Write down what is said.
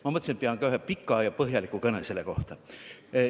Ma mõtlesin, et pean ka ühe pika ja põhjaliku kõne selle kohta.